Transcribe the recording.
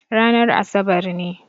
Ranar asabar ne.